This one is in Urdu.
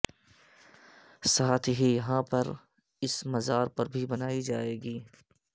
ساتھ ہی یہاں پر اس مزار بھی بنائی جائے گ